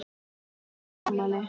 Þetta var gott afmæli.